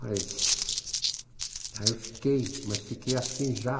Mas aí eu fiquei, mas fiquei assim já.